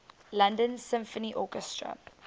london symphony orchestra